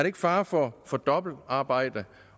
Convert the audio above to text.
ikke fare for for dobbeltarbejde